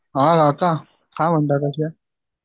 काय म्हणता कसेत?